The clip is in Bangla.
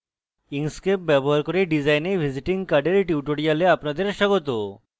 inkscape ব্যবহার করে design a visiting card এর tutorial স্বাগত